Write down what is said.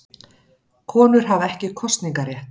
Konur hafa ekki kosningarétt.